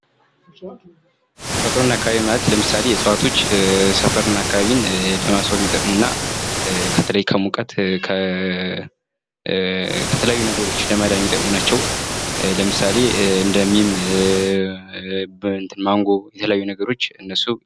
ተፈጥሮና አካባቢ ማለት ለምሳሌዎች ሰፈርን እና አካባቢ ለማስዋብ የሚጠቅሙ እና በተለይ ከሙቀት ከተለያዩ ነገሮች ለመዳን የሚጠቅሙ ናቸው። ለምሳሌ እንደ ማንጎ የተለያዩ ነገሮች እነሱ።